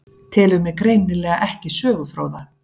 Telur mig greinilega ekki sögufróða.